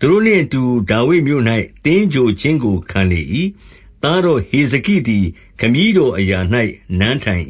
သူတို့ နှင့်အတူ ဒါဝိဒ်မြို့၌ သင်္ဂြိုဟ်ခြင်းကိုခံလေ၏။ သားတော် ဟေဇကိသည် ခမည်းတော်အရာ၌ နန်းထိုင်